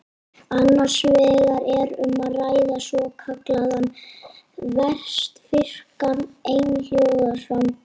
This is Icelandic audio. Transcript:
Annars vegar er um að ræða svokallaðan vestfirskan einhljóðaframburð.